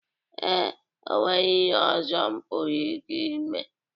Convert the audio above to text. Ee, o nweghi ihe ọzọ m pụrụ ike ime.